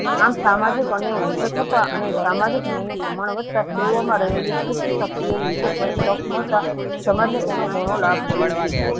આમ સામાજિક અન્યાયો નો ઉછેર થતા અને સામાજિક ન્યાયનું પ્રમાણ વધતા સ્ત્રીઓમાં રહેલી શક્તિઓને હિત શ્રેણી તક મળતા સમાજને તેનો ઘણો લાભ મળ્યો છે.